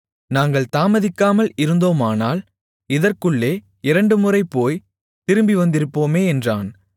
நாங்கள் தாமதிக்காமல் இருந்தோமானால் இதற்குள்ளே இரண்டுமுறை போய்த் திரும்பி வந்திருப்போமே என்றான்